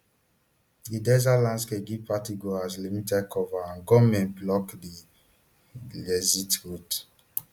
di desert landscape give partygoers limited cover and gunmen block di exit routes